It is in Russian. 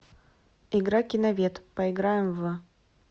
игра киновед поиграем в